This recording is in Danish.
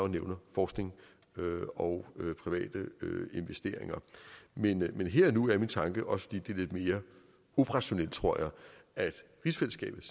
nævner forskning og private investeringer men her og nu er min tanke også fordi det er lidt mere operationelt tror jeg at rigsfællesskabet